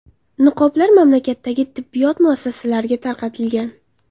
Niqoblar mamlakatdagi tibbiyot muassasalariga tarqatilgan.